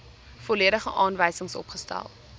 volledige aanwysings opgestel